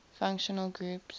functional groups